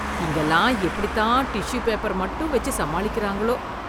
இங்கெல்லாம் எப்படித் தான் டிஷ்ஷூ பேப்பர் மட்டும் வெச்சு சமாளிக்கறாங்களோ?!